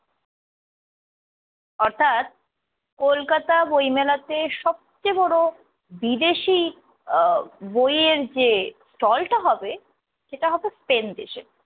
হঠাৎ কলকাতা বইমেলাতে সবচেয়ে বড় বিদেশী আহ বইয়ের যে stall টা হবে সেটা হবে স্পেন দেশে।